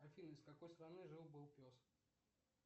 афина из какой страны жил был пес